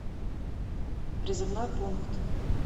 призывной пункт